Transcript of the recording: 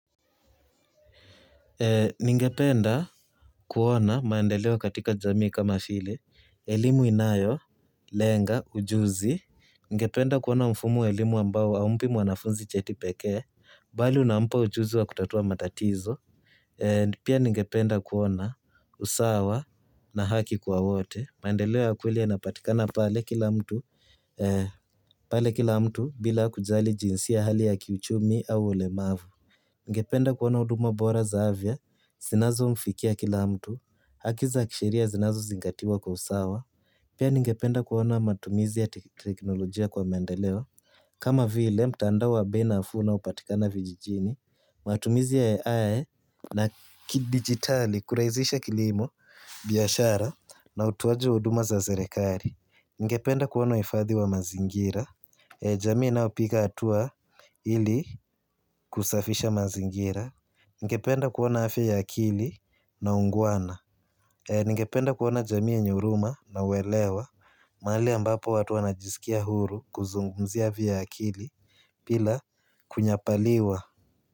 Ninge penda kuona maendeleo katika jamii kama vile, elimu inayo, lenga, ujuzi. Ninge penda kuona mfumo wa elimu ambao haumpi mwanafunzi cheti pekee, bali unampa ujuzi wa kutatua matatizo. Pia ninge penda kuona usawa na haki kwa wote. Maendeleo ya kweli yanapatikana pale kila mtu bila kujali jinsia hali ya kiuchumi au ulemavu. Ningependa kuona huduma bora za afya, zinazo mfikia kila mtu, haki za kisheria zinazo zingatiwa kwa usawa. Pia ningependa kuona matumizi ya teknolojia kwa mendeleo. Kama vile mtandao wa bei nafuu unaopatikana vijijini, matumizi ya ai na kidigitali, kurahizisha kilimo, biashara na utoaji wa huduma za serekari. Ningependa kuona uhifadhi wa mazingira. Jamii inayopiga hatua ili kusafisha mazingira. Ningependa kuona afya ya akili na ungwana. Ningependa kuona jamii yenye huruma na uelewa. Mahali ambapo watu wanajisikia huru kuzungumzia afya ya akili bila kunyapaliwa.